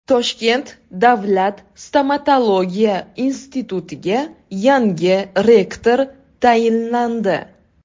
Toshkent davlat stomatologiya institutiga yangi rektor tayinlandi.